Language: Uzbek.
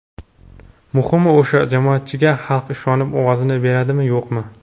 Muhimi, o‘sha jamoatchiga xalq ishonib ovozini beradimi, yo‘qmi.